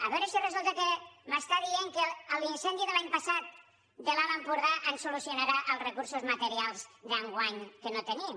a veure si resulta que em diu que l’incendi de l’any passat de l’alt empordà ens solucionarà els recursos materials d’enguany que no tenim